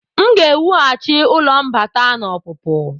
M ga-ewughachi ụlọ mbata na ọpụpụ.